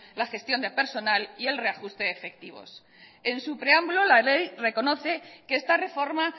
la gestión del personal y el reajuste de efectivos en su preámbulo la ley reconoce que esta reforma